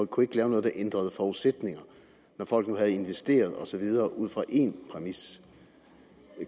kunne lave noget der ændrede forudsætningerne når folk nu havde investeret og så videre ud fra én præmis